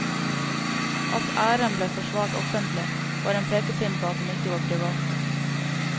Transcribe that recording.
At æren ble forsvart offentlig, var en pekepinn på at den ikke var privat.